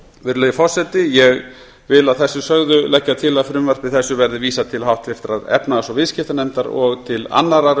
virðulegi forseti að þessu sögðu legg ég til að frumvarpi þessu verði vísað til háttvirtrar efnahags og viðskiptanefndar og til annarrar